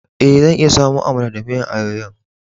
Eh, zan iya samo Amala da miyan ayoyo'n.